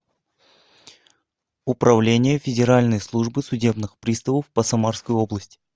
управление федеральной службы судебных приставов по самарской области